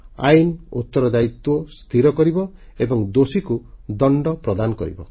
ଆଇନ ଉତ୍ତରଦାୟିତ୍ୱ ସ୍ଥିର କରିବ ଏବଂ ଦୋଷୀଙ୍କୁ ଦଣ୍ଡ ପ୍ରଦାନ କରିବ